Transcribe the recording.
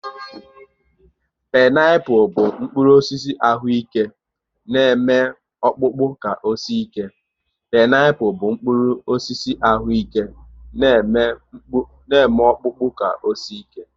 Pineapul bụ mkpụrụ osisi ahụ ike na eme ọkpụkpụ ka o sie ike